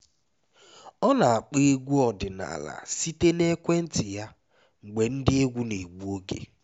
ọ na-akpọ egwu ọdịnala site na ekwentị ya mgbe ndi egwu na-egbu oge